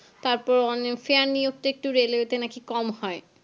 তারপর অনে fair নিয়োগ তো railway একটু নাকি কম হয়